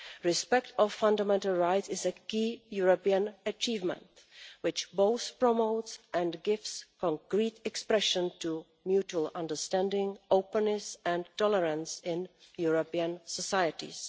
Respect for fundamental rights is a key European achievement which both promotes and gives concrete expression to mutual understanding, openness and tolerance in European societies.